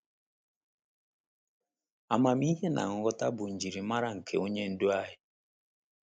Amamihe na nghọta bụ njirimara nke Onye Ndu anyị.